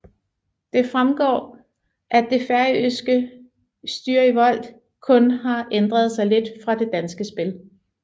Det fremgår at det færøske Stýrivolt kun har ændret sig lidt fra det danske spil